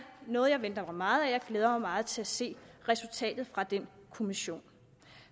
noget jeg venter mig meget af og jeg glæder mig meget til at se resultatet fra den kommission